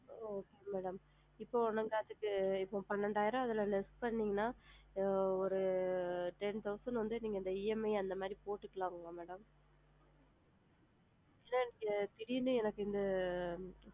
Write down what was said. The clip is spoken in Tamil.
ஆ okay madam இப்போ உதாரணத்துக்கு இப்போ பன்னிரெண்டாயிரம் அதுல less பண்ணுனிங்க அப்படின்னா இப்போ ஒரு ten thousand வந்து நீங்க EMI அந்த மாதிரி போட்டுக்கலாமா mam திடீர்ன்னு எனக்கு இங்க